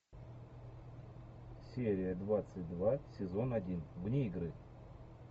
серия двадцать два сезон один вне игры